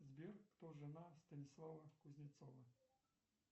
сбер кто жена станислава кузнецова